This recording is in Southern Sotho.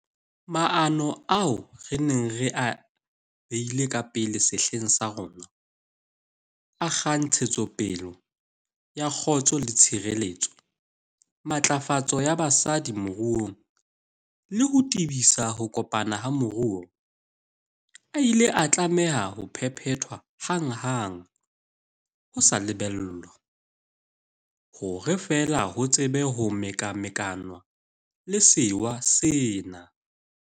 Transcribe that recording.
Maano ao re neng re a beile ka pele sehleng sa rona, a a kgang ntshetsopele ya kgotso le tshireletso, matlafatso ya basadi moruong le ho tebisa ho kopana ha moruo, a ile a tlameha ho phephethwa hanghang ho sa lebellwa, hore fela ho tsebe ho mekamekanwa le sewa sena.